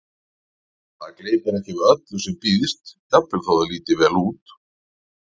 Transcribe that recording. Maður gleypir ekki við öllu sem býðst, jafnvel þótt það líti vel út